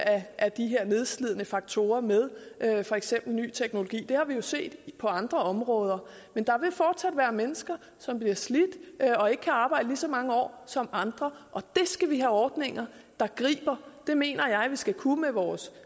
af de her nedslidende faktorer med for eksempel ny teknologi det har vi jo set på andre områder men der vil fortsat være mennesker som bliver slidt og ikke kan arbejde lige så mange år som andre og det skal vi have ordninger der griber det mener jeg vi skal kunne med vores